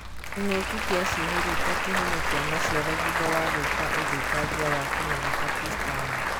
King'oki kia ciehuruta kĩhumo kia maciaro thutha wa gũika ũthũkangia wa kimera Pakistan.